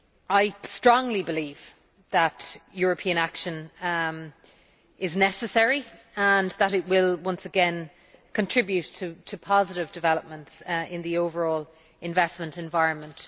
I strongly believe that European action is necessary and that it will once again contribute to positive developments in the overall investment environment.